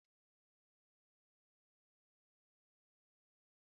Ebee ka idebere akwụkwọ m dere abụ m?